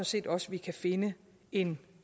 set også vi kan finde en